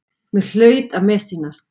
Mér hlaut að missýnast.